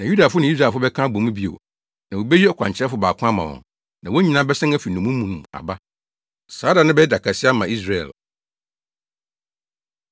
Na Yudafo ne Israelfo bɛka abɔ mu bio, na wobeyi ɔkwankyerɛfo baako ama wɔn, na wɔn nyinaa bɛsan afi nnommum no mu aba. Saa da no bɛyɛ da kɛse ama Yesreel.”